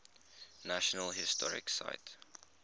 national historic site